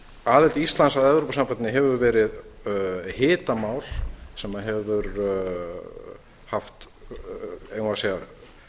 aðild íslands að evrópusambandinu hefur verið hitamál sem hefur haft eigum við að segja